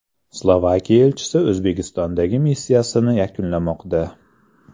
Slovakiya elchisi O‘zbekistondagi missiyasini yakunlamoqda.